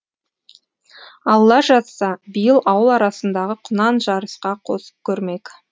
алла жазса биыл ауыл арасындағы құнан жарысқа қосып көрмек